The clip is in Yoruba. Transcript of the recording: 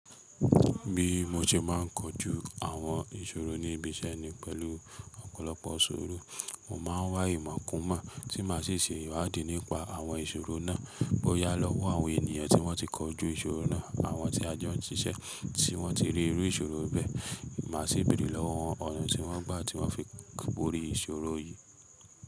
Bí mo ṣe máà ń kọjú àwọn ìṣòro ní ibi iṣẹ́ ni pẹ̀lú ọ̀pọ̀lọpọ̀ suru. Mo máa ń wá ìmọ̀ kún mọ̀ tí maa ṣi ṣe ìwádí nípa àwọn ìṣòro náà bóyá lọ́wọ́ àwọn ènìyàn tí wọ́n ti kọjú ìṣòro náà àwọn tí a jọ ń ṣiṣẹ́ tí wọ́n ti rí irú ìṣòro bẹ́ẹ̀. Máa sì béèrè lọ́wọ́ wọn ọ̀nà tí wọ́n gbà tí wọ́n fi bórì ìṣòro yìí.